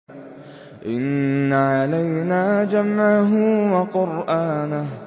إِنَّ عَلَيْنَا جَمْعَهُ وَقُرْآنَهُ